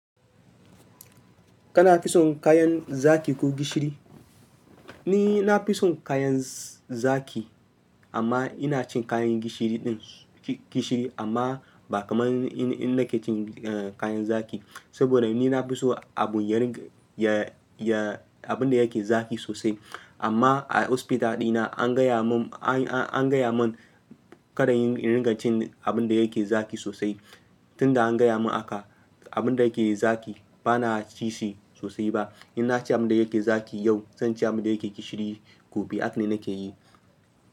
Kana fison kayan zaki ko gishiri? Ni na fison kayan zaki amma ina cin kayan gishiri ɗin gishiri amma ba kamar in nake cin kayan zaki. Saboda ni na fi so aɓunyar ya, ya, abun da yake zaki sosai. Amma a hospital dina an gaya mun, an, an, an gaya mun kada in ringa cin abun da yake zaki sosai. Tun da an gaya mun haka, abun da yake zaki bana cishi sosai ba. In na ci abun da yake zaki yau, zan ci abun da yake gishiri gobe. Haka ne nake yi.